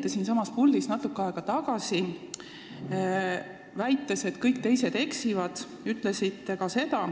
Te siinsamas puldis natuke aega tagasi, väites, et kõik teised eksivad, ütlesite ka seda,